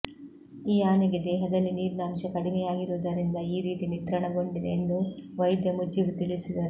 ಈ ಆನೆಗೆ ದೇಹದಲ್ಲಿ ನೀರಿನ ಅಂಶ ಕಡಿಮೆಯಾಗಿರುವುದರಿಂದ ಈ ರೀತಿ ನಿತ್ರಾಣಗೊಂಡಿದೆ ಎಂದು ವೈದ್ಯ ಮುಜೀಬ್ ತಿಳಿಸಿದರು